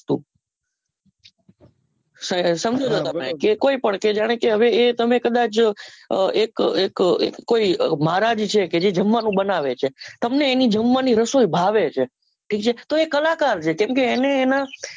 એ કોઈ પણ કે જાણે કે તમે કદાચ એક અ એક કોઈ મહારાજ વિશે જે જમવાનું બનાવે છે તમને એની જમવાની રસોઈ ભાવે છે કે જે કલાકાર છે કેમ કે એને એના